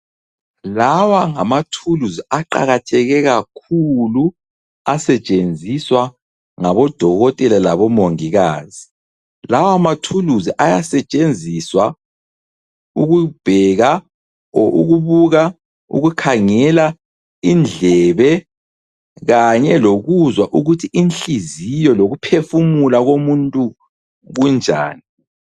Lawa ngama thuluzi aqakatheke kakhulu asetshenziswa ngabo dokotela labo mongikazi. Lawa mathuluzi ayasetshenziswa ukubheka or ukubuka ukukhangela indlebe kanye lokuzwa ukuthi inhliziyo lokuphefumula komuntu kunjani.